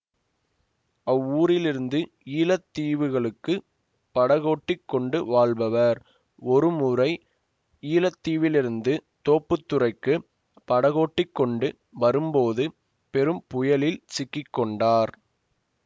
அவ்வூரிலிருந்து ஈழ தீவுகளுக்குப் படகோட்டி கொண்டு வாழ்பவர் ஒரு முறை ஈழத்திலிருந்து தோப்புத்துறைக்குப் படகோட்டிக் கொண்டு வரும் போது பெரும் புயலில் சிக்கி கொண்டார்